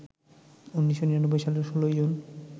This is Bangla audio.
১৯৯৯ সালের ১৬ জুন